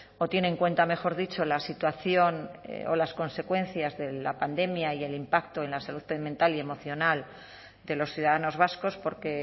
o tiene en cuenta mejor dicho la situación o las consecuencias de la pandemia y el impacto en la salud mental y emocional de los ciudadanos vascos porque